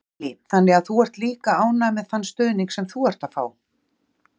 Lillý: Þannig að þú ert líka ánægður með þann stuðning sem þú ert að fá?